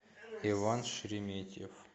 иван шереметьев